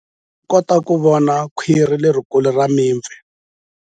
U nga kota ku vona khwiri lerikulu ra mipfi.